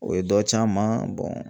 O ye dɔ c'an ma